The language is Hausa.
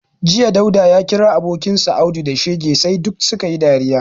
Jiya, Dauda ya kira abokinsa Audu da shege sai duk su ka yi dariya